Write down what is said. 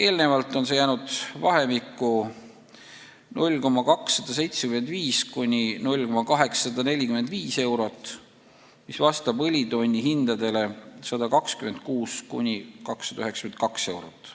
Enne seda jäi see vahemikku 0,275–0,845 eurot, mis vastas õlitonni hindadele 126–292 eurot.